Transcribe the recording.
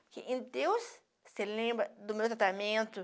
Porque em Deus, você lembra do meu tratamento?